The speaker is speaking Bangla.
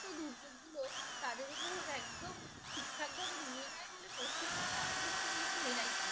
দুর্যোকগুলো তাদের উপর একদম ঠিকঠাক ভাবে নিয়ে নেই বলে পশ্চিমবঙ্গ অনেক দিক থেকে কিন্তু রেহাই পেয়ে যাই